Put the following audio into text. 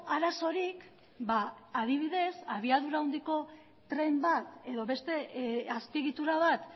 arazorik adibidez abiadura handiko tren bat edo beste azpiegitura bat